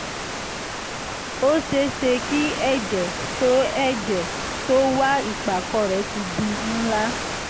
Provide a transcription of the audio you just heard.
ó ṣeé ṣe kí ẹ̀jẹ̀ tó ẹ̀jẹ̀ tó wà ìpàkọ́ rẹ ti di ńlá